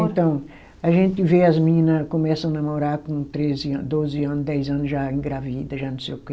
Então, a gente vê as menina começam namorar com treze ano, doze ano, dez ano já engravida, já não sei o quê.